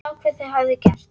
Sá hvað þær höfðu gert.